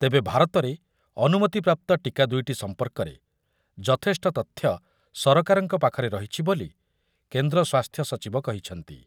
ତେବେ ଭାରତରେ ଅନୁମତିପ୍ରାପ୍ତ ଟୀକା ଦୁଇଟି ସମ୍ପର୍କରେ ଯଥେଷ୍ଟ ତଥ୍ୟ ସରକାରଙ୍କ ପାଖରେ ରହିଛି ବୋଲି କେନ୍ଦ୍ର ସ୍ୱାସ୍ଥ୍ୟ ସଚିବ କହିଛନ୍ତି ।